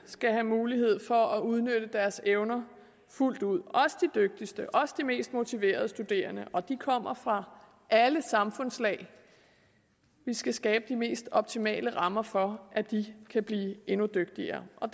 skal have mulighed for at udnytte deres evner fuldt ud også de dygtigste også de mest motiverede studerende og de kommer fra alle samfundslag vi skal skabe de mest optimale rammer for at de kan blive endnu dygtigere og